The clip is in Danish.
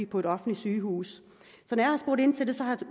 på et offentligt sygehus